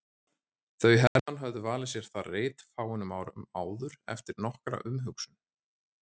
Þau Hermann höfðu valið sér þar reit fáeinum árum áður eftir nokkra umhugsun.